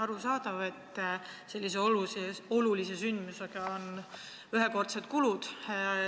Arusaadav, et sellise olulise sündmusega kaasnevad ühekordsed kulud.